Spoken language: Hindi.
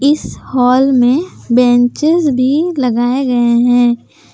इस हाल में बेंचेज भी लगाए गए हैं।